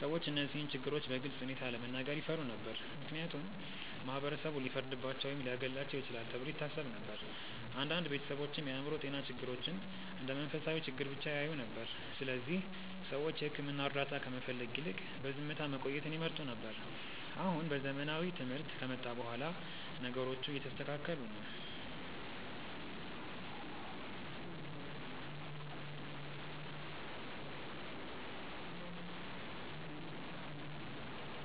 ሰዎች እነዚህን ችግሮች በግልፅ ሁኔታ ለመናገር ይፈሩ ነበር፣ ምክንያቱም ማህበረሰቡ ሊፈርድባቸው ወይም ሊያገለልባቸው ይችላል ተብሎ ይታሰብ ነበር። አንዳንድ ቤተሰቦችም የአእምሮ ጤና ችግሮችን እንደ መንፈሳዊ ችግር ብቻ ያዩ ነበር፣ ስለዚህ ሰዎች የሕክምና እርዳታ ከመፈለግ ይልቅ በዝምታ መቆየትን ይመርጡ ነበር። አሁን ዘመናዊ ትምህርት ከመጣ በኋላ ነገሮቹ እየተስተካከሉ ነው።